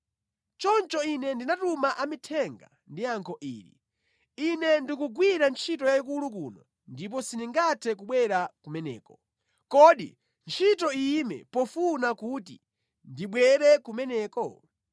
Choncho ine ndinatuma amithenga ndi yankho ili: “Ine ndikugwira ntchito yayikulu kuno ndipo sindingathe kubwera kumeneko. Kodi ntchito iyime pofuna kuti ndibwere kumeneko?”